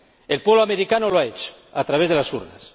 El pueblo americano lo ha hecho, a través de las urnas.